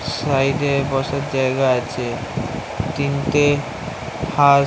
side এ বসার জায়গা আছে তিনটে হাঁ --